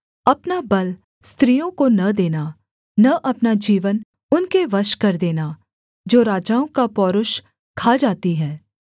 अपना बल स्त्रियों को न देना न अपना जीवन उनके वश कर देना जो राजाओं का पौरूष खा जाती हैं